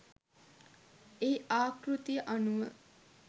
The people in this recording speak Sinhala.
එහි ආකෘතිය අනුව